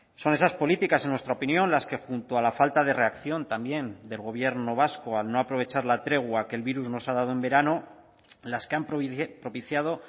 son esas políticas en nuestra opinión las que junto a la falta de reacción también del gobierno vasco al no aprovechar la tregua que el virus nos ha dado en verano las que han propiciado